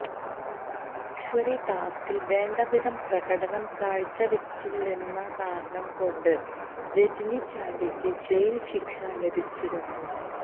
luxury ടാസ്ക്കിൽ വേണ്ടവിധം പ്രകടനം കാഴ്ചവച്ചില്ലെന്ന കാരണം കൊണ്ട് രാജിനി ചാണ്ടിയ്ക്ക് ജയിൽ ശിക്ഷ ലഭിച്ചിരുന്നു